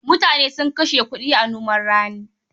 Mutane sun kashe kuɗi a noman rani.